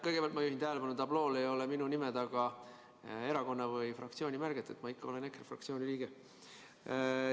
Kõigepealt ma juhin tähelepanu, et tablool ei ole minu nime taga erakonna või fraktsiooni märget, et ma ikka olen EKRE fraktsiooni liige.